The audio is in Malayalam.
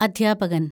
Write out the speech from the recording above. അദ്ധ്യാപകന്‍